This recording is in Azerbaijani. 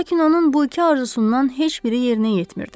Lakin onun bu iki arzusundan heç biri yerinə yetmirdi.